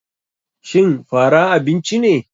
Shin fara abinci ne.